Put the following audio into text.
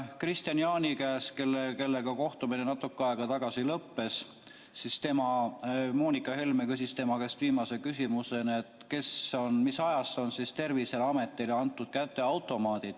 Kristian Jaani käest, kellega kohtumine meil natuke aega tagasi lõppes, küsis Helle-Moonika Helme viimase küsimusena, mis ajast on Terviseametile antud kätte automaadid.